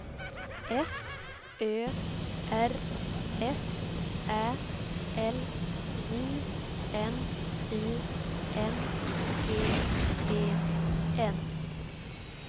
F Ö R S Ä L J N I N G E N